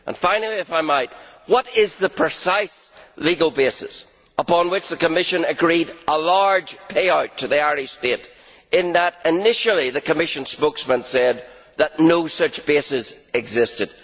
Finally, if I might, what is the precise legal basis upon which the Commission agreed a large payout to the Irish state, as initially the Commission spokesman said that no such basis existed?